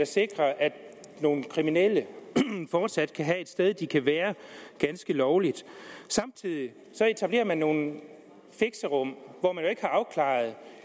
sikrer at nogle kriminelle fortsat kan have et sted de kan være ganske lovligt samtidig etablerer man nogle fixerum hvor man jo ikke har afklaret